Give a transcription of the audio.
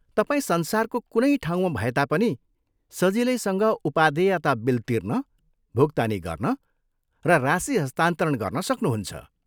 तपाईँ संसारको कुनै ठाउँमा भए तापनि सजिलैसँग उपादेयता बिल तिर्न, भुक्तानी गर्न र राशि हस्तान्तरण गर्न सक्नुहुन्छ।